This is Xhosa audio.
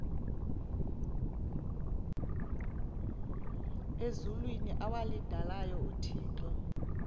ezulwini awalidalayo uthixo